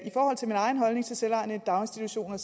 i forhold til min egen holdning til selvejende daginstitutioner